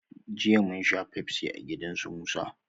Jiya munsha pepsi a gida su musa